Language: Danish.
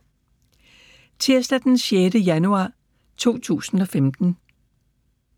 Tirsdag d. 6. januar 2015